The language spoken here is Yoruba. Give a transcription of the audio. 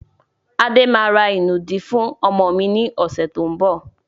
Adé máa ra ìnùdí fún ọmọ mi ni ọ̀sẹ̀ tó ń bọ̀.